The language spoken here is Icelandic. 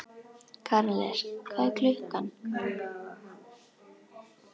Karles, hvað er klukkan?